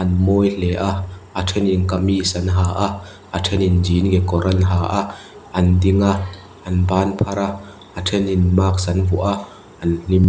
an mawi hle a a thenin kamis an ha a a thenin genie kawr an ha a an ding a an ban phar a a thenin mask an vuah a an hlim --